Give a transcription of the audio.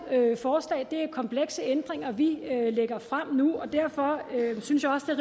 forslag det er komplekse ændringer vi lægger frem nu og derfor synes jeg også